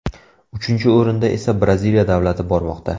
Uchinchi o‘rinda esa Braziliya davlati bormoqda.